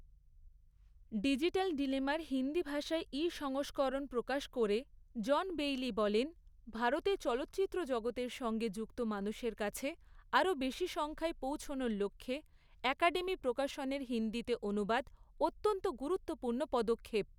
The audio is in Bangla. ডিজিটাল ডিলেমার হিন্দি ভাষায় ই সংস্করণ প্রকাশ করে জন বৈইলি বলেন, ভারতে চলচ্চিত্র জগতের সঙ্গে যুক্ত মানুষের কাছে আরও বেশি সংখ্যায় পৌঁছানোর লক্ষ্যে অ্যাকাডেমি প্রকাশনের হিন্দিতে অনুবাদ অত্যন্ত গুরুত্বপূর্ণ পদক্ষেপ।